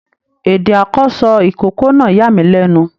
Èdè àkọsọ ikòkò náà yàmílẹnu.